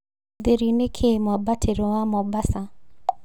thĩri nĩ kĩĩ mwambatĩro wa Mombasa